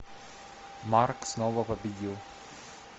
марк снова победил